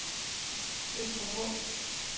Øster Vrå